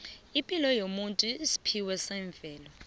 epilo yomuntu yesiphiwo semvelo